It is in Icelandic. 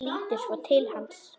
Lítur svo til hans.